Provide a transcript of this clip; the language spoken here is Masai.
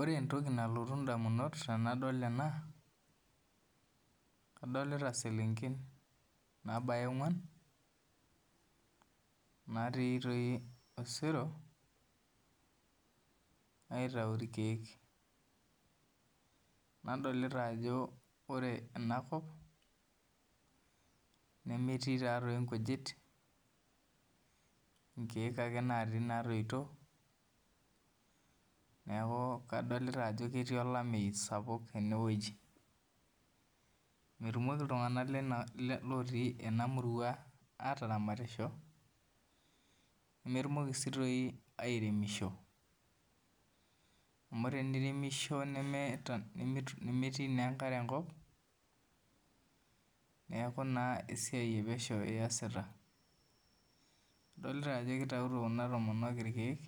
Ore entoki nalotu indamunot tenadol ena, adolita selenken nabaya ong'uan, natii toi osero, aitau irkeek. Nadolita ajo ore enakop, nemetii tatoi nkujit, inkeek ake natii natoito. Neeku kadolita ajo ketii olameyu sapuk enewueji. Metumoki iltung'anak lotii enamurua ataramatisho, nemetumoki si toi airemisho. Amu teniremisho nemetii naa enkare enkop, neeku naa esiai epesho iyasita. Idolita ajo kitauto kuna tomonok irkeek,